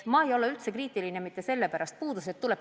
Ma ei ole üldse kriitiline mitte selle pärast, et puudused välja tuuakse.